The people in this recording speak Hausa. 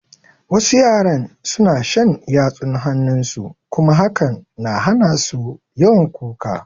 Wasu yaran suna shan yatsun hanun su kuma hakan na hana su yawan kuka